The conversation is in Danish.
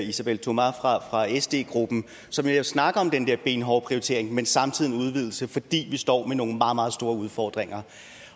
isabelle thomas fra sd gruppen som jo snakker om den der benhårde prioritering men samtidig en udvidelse fordi vi står med nogle meget meget store udfordringer